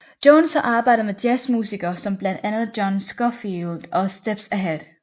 Jones har arbejdet med jazz musiker som blandt andre John Scofield og Steps Ahead